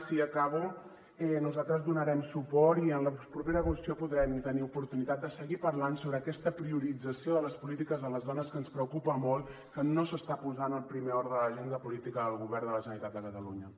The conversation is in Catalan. sí acabo nosaltres hi donarem suport i en la propera ocasió podrem tenir oportunitat de seguir parlant sobre aquesta priorització de les polítiques de les dones que ens preocupa molt que no s’està posant al primer ordre de l’agenda política del govern de la generalitat de catalunya